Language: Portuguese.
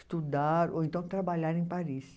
Estudar ou então trabalhar em Paris.